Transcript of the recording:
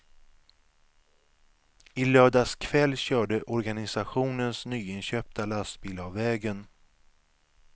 I lördags kväll körde organisationens nyinköpta lastbil av vägen.